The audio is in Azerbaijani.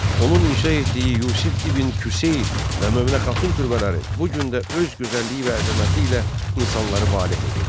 Onun inşa etdiyi Yusif İbn Küseyir və Möminə xatun türbələri bu gün də öz gözəlliyi və əzəməti ilə insanları valeh edir.